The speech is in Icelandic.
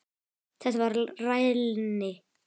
Þetta var rælni.